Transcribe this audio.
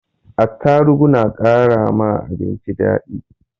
Atarugu na kara ma abinci daɗi